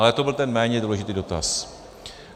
Ale to byl ten méně důležitý dotaz.